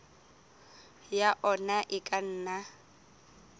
ya ona e ka nna